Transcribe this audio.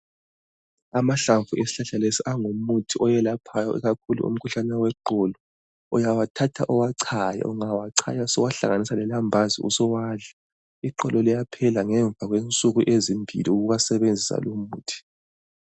Amahlamvu esihlahla lesi angumuthi owelaphayo ikakhulu imkhuhlane weqolo uyawathatha uwachaye ungawachaya suwathatha suwahlanhanisa lelambazi usuwadla iqolo liyaphela ngemva kwensuku ezimbili ukuwasebenzisa lumuthi